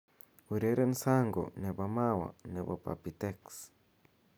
ureren sango nepo mawa nepo papy tex